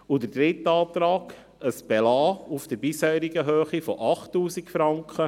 Der dritte Antrag betrifft ein Belassen auf der bisherigen Höhe von 8000 Franken.